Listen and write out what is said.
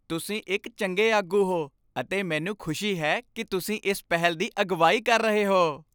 ਤੁਸੀਂ ਇੱਕ ਚੰਗੇ ਆਗੂ ਹੋ ਅਤੇ ਮੈਨੂੰ ਖੁਸ਼ੀ ਹੈ ਕਿ ਤੁਸੀਂ ਇਸ ਪਹਿਲ ਦੀ ਅਗਵਾਈ ਕਰ ਰਹੇ ਹੋ।